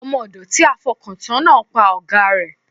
Ọmọ ọ̀dọ̀ tí a fọkàn tán náà pa ọ̀gáa rẹ̀.